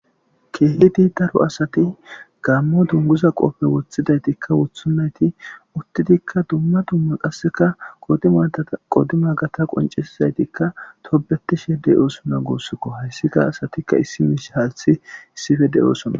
keehi diitaro asati gaammo dunguza qoppe wothidaytikka wothunnayti uttidikka dumma dumma qasseka qodimadaa qodima gata qoncesizaytikka topbetishedey oosona goossokko hayssika asatikka issi miish haalthi issife de7oosona